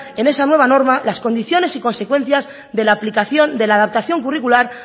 en esa nueva norma las condiciones y consecuencias de la aplicación de la adaptación curricular